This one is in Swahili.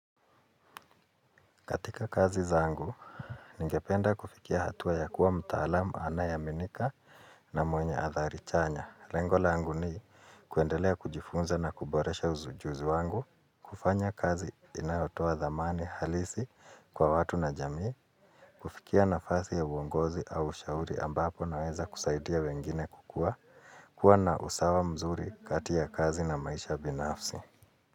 Katika kazi zaangu, ningependa kufikia hatua ya kuwa mtaalamu anayeaminika na mwenye adhari chanya. Lengo langu ni kuendelea kujifunza na kuboresha uzi ujuzi wangu, kufanya kazi inayotoa dhamani halisi kwa watu na jamii, kufikia nafasi ya uongozi au ushauri ambapo naweza kusaidia wengine kukua, kuwa na usawa mzuri kati ya kazi na maisha binafsi.